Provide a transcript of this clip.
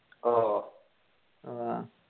ഓ